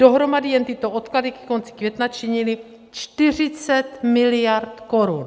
Dohromady jen tyto odklady ke konci května činily 40 miliard korun.